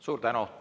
Suur tänu!